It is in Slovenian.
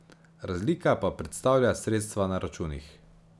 Razlika pa predstavlja sredstva na računih.